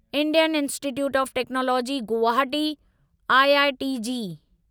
Indian Institute of Technology Guwahati IIT JEE